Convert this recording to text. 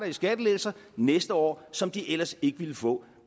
i skattelettelser næste år som de ellers ikke ville få